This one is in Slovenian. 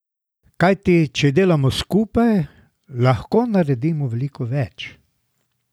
Kajti če delamo skupaj, lahko naredimo veliko več.